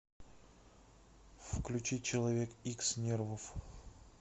включи человек икс нервов